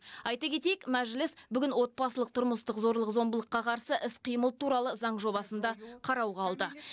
айта кетейік мәжіліс бүгін отбасылық тұрмыстық зорлық зомбылыққа қарсы іс қимыл туралы заң жобасын да қарауға алды